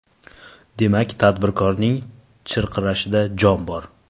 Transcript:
Demak, tadbirkorning chirqirashida jon bor.